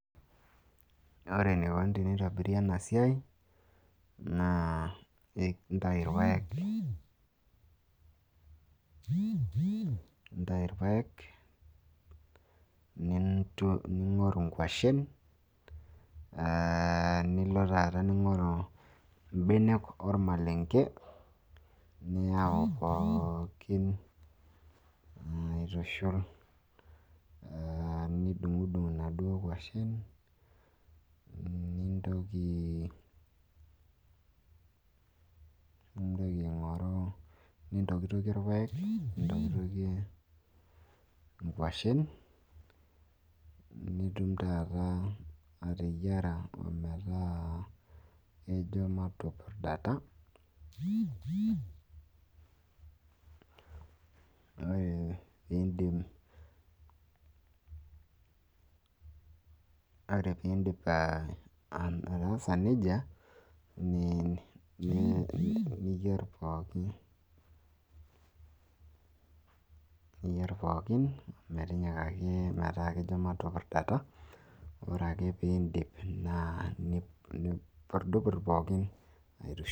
ore eneikoni teneitobiri ena siai naa intayu irpaek, ning'oruu nkwashen, nilo taata ningoru ibenek ormalenke. nilo taata aitushul, nidunngudung inaduoo kwashen nintoki aing'oru nintokitokie irpaek, nintoki inkwashen mppaka neeku kejo matupurdata, ore ake pee idip nipurdupurd pookin aitushul